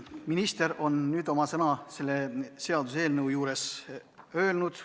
Minister on nüüd oma sõna selle seaduseelnõu kohta öelnud.